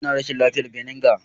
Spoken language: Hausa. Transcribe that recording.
Ina rashin lafiyar vinegar.